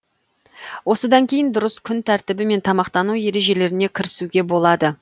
осыдан кейін дұрыс күн тәртібі мен тамақтану ережелеріне кірісуге болады